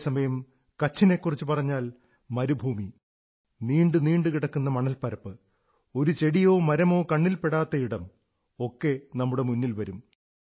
അതേസമയം കച്ഛിനെക്കുറിച്ചു പറഞ്ഞാൽ മരുഭൂമി നീണ്ടു നീണ്ടു കിടക്കുന്ന മണൽപ്പരപ്പ് ഒരു ചെടിയോ മരമോ കണ്ണിൽ പെടാത്ത ഇടം ഒക്കെ നമ്മുടെ മുന്നിൽ വരും